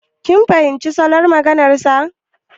Kin fahimci salon maganar sa.